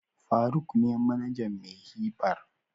faruk ne manajan "Mayhi bar".